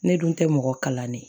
Ne dun tɛ mɔgɔ kalannen ye